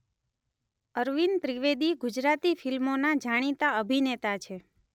અરવિંદ ત્રિવેદી ગુજરાતી ફિલ્મોના જાણીતા અભિનેતા છે.